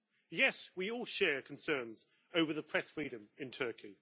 Yes, we all share concerns over press freedom in Turkey.